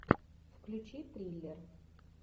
включи триллер